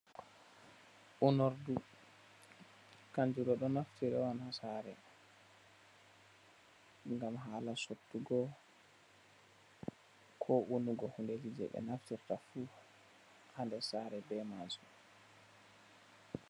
Onurdu, kanjudo do naftire on ha sare, ngam Hala suttugo, ko onugo hundeji je be naftirta fu ha ndir sare be majum.